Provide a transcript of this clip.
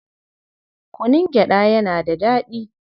Kunun gyaɗa yana da daɗi.